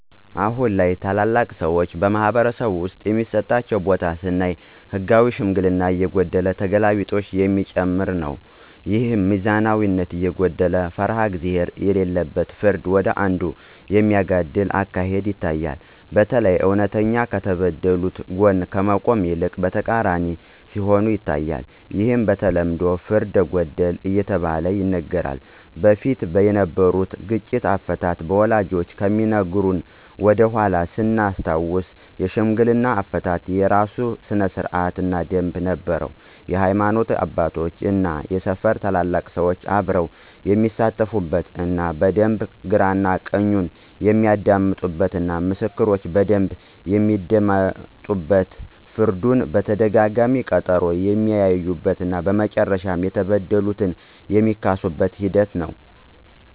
አሁን ላይ ታላላቅ ሰዎች በማኅበረሰብ ውስጥ የሚሰጣቸው ቦታ ስናይ ህጋዊ ሽምግልና እየጎደለ ተገላቢጦሽ የሚጨመር ነው። ይህም ሚዛናዊነት የጎደለው እና ፈሪሃ እግዚአብሄር የሌለበት ፍርዱ ወደ አንዱ የሚያጋድል አካሄድ ይታያል። በተለይ እውነተኛ ከተበደሉት ጎን ከመቆም ይልቅ በተቃራኒው ሲሆን ይታያል። ይህም በተለምዶ ፍርደ ገምድል እየተባለ ይነገራል። በፊት የነበሩት ግጭት አፈታት ወላጆቻችን ከሚነግሩን ወደኃላ ስናስታውስ የሽምግልና አፈታት የራሱ ስርአት እና ደምብ ነበረው የሀይማኖት አባቶች እና የሰፈሩ ትልልቅ ሰዎች አብረው የሚሳተፉበት እና በደንብ ግራ ቀኙን የሚያደምጡበት እና ምስክሮች በደንብ የሚደመጡበት ፍርዱን በተደጋጋሚ በቀጠሮ የሚያዩበት እና መጨረሻም የተበደለ የሚካስበት ሂደት ነው።